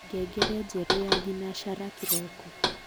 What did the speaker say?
ngengere njeru ya thinashara kiroko